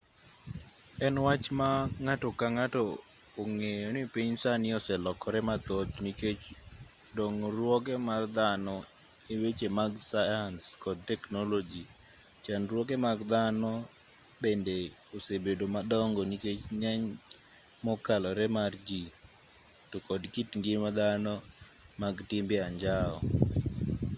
en wach ma ng'ato ka ng'ato ong'eyo ni piny sani oselokore mathoth nikech dongruoge mag dhano e weche mag sayans kod teknoloji chandruoge mag dhano bende osebedo madongo nikech ng'eny mokalore mar ji to kod kit ngima dhano mag timbe anjao